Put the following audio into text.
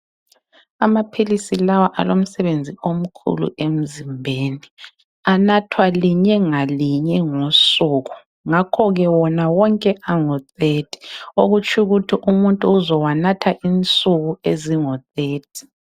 Amaphilisi lawa alomsebenzi omkhulu emzimbeni. Anathwa linye ngalinye ngosuku. Ngakho ke wona wonke angu 30.Okutshukuthi umuntu uzowanatha insuku ezingu 30.